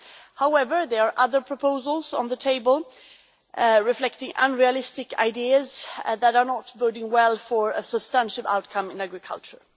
However, there are other proposals on the table reflecting unrealistic ideas that are not boding well for a substantial outcome in agriculture.